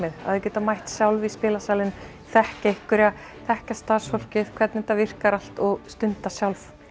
að þau geta mætt sjálf í spilasalinn þekkja einhverja þekkja starfsfólkið hvernig þetta virkar allt og stunda sjálf